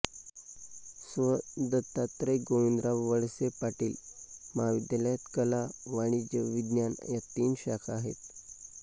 स्व दत्तात्रय गोविंदराव वळसे पाटील महाविद्यालयात कला वाणिज्य विज्ञान या तीन शाखा आहेत